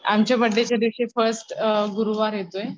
आमच्या बर्थडे च्या दिवशी फर्स्ट गुरुवार येतोय.